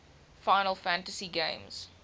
final fantasy games